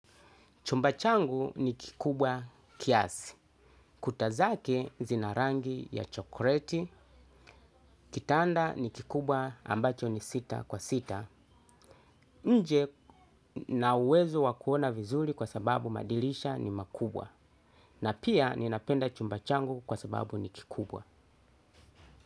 Chumba changu ni kikubwa kiasi. Kuta zake zina rangi ya chokoleti, kitanda ni kikubwa ambacho ni sita kwa sita, nje ninauwezo wa kuona vizuri kwa sababu madirisha ni makubwa. Na pia ninapenda chumba changu kwa sababu ni kikubwa.